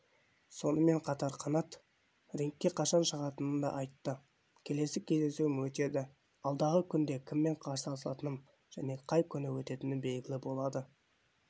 сонымен қатар қанат рингке қашан шығатынын да айтты келесі кездесуім өтеді алдағы күнде кіммен қарсыласатыным және қай күні өтетіні белгілі болады